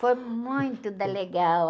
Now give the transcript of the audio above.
Foi muito da legal.